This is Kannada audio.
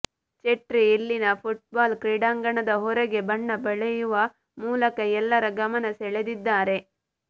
ಚೆಟ್ರಿ ಇಲ್ಲಿನ ಫುಟ್ಬಾಲ್ ಕ್ರೀಡಾಂಗಣದ ಹೊರಗೆ ಬಣ್ಣ ಬಳಿಯುವ ಮೂಲಕ ಎಲ್ಲರ ಗಮನ ಸೆಳೆದಿದ್ದಾರೆ